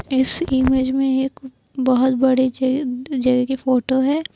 इस इमेज में एक बहोत बड़े ज जगह की फोटो है।